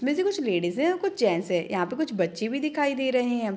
इसमें से कुछ लेडीजे हैं कुछ गेट्स हैं यहाँ पर कुछ बच्चे भी दिखाई दे रहे हैं।